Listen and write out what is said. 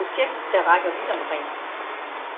Så det er et projekt, der rækker vidt omkring.